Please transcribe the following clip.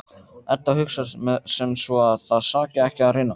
Edda hugsar sem svo að það saki ekki að reyna.